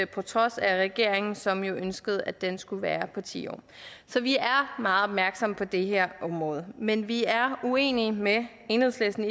på trods af regeringen som jo ønskede at den skulle være på ti år så vi er meget opmærksom på det her område men vi er uenige med enhedslisten